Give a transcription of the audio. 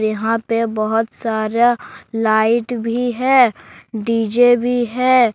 यहां पर बहुत सारा लाइट भी है डी_जे भी है।